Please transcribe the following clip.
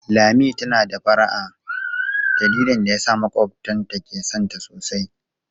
Lami is friendly and that makes her neighbors like her alot.